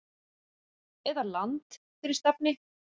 eða Land fyrir stafni!